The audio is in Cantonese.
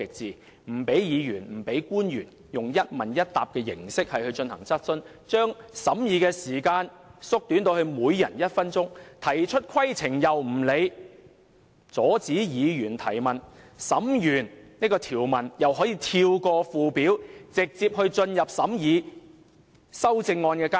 她不許議員和官員以一問一答的形式進行質詢環節，把審議時間縮短至每人一分鐘，對議員提出的規程問題又不加理會，更阻止議員提問，完成審議條文後，竟可跳過附表，直接進入審議修正案階段。